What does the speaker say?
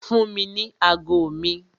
Fún mi ní ago mi!